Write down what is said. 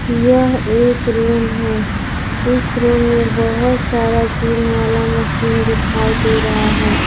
यह एक रूम है इस रूम में बहुत सारा जिम वाला मशीन दिखाई दे रहा है।